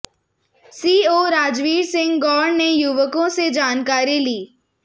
CO Rajveer Singh Gaur ने युवकों से जानकारी ली